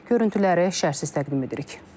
Görüntüləri şərhsiz təqdim edirik.